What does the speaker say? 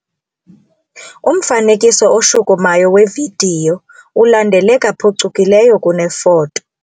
Umfanekiso oshukumayo wevidiyo ulandeleka phucukileyo kunefoto.